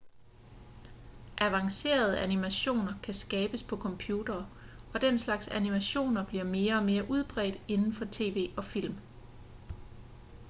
avancerede animationer kan skabes på computere og den slags animationer bliver mere og mere udbredt inden for tv og film